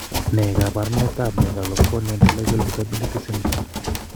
Ne kaabarunetap Megalocornea intellectual disability syndrome?